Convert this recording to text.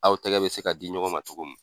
Aw tɛgɛ bɛ se ka di ɲɔgɔn ma togo min.